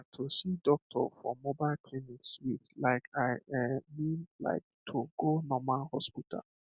ah to see doctor for mobile clinic sweet like i um mean like to go normal hospital